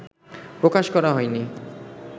প্রকাশ করা হয়নি